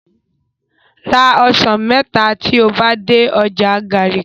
Ra osan mẹta ti o ba de ọja Garki